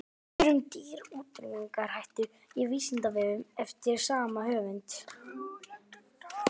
Svör um dýr í útrýmingarhættu á Vísindavefnum eftir sama höfund.